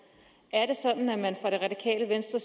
er det radikale venstre